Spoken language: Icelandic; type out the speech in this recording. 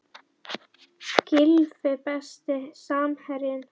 Gylfi Besti samherjinn?